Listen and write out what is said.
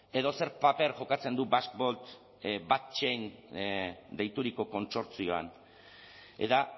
edo zer paper jokatzen du basque deituriko kontsortzioan eta